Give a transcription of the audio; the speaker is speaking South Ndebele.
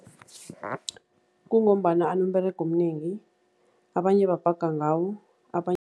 Kungombana anomberego omnengi, abanye babhaga ngawo